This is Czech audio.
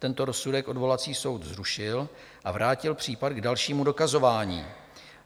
Tento rozsudek odvolací soud zrušil a vrátil případ k dalšímu dokazování.